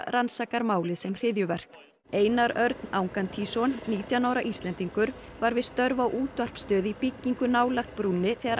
rannsakar málið sem hryðjuverk Einar Örn Angantýsson nítján ára Íslendingur var við störf á útvarpsstöð í byggingu nálægt brúnni þegar